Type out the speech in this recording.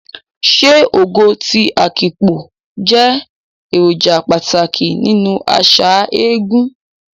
Ṣé Ogo ti Afikpo jẹ́ èròjà pàtàkì nínú àṣà eégún?